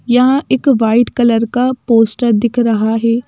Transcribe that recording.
यहां एक white colour का पोस्टर दिख रहा है।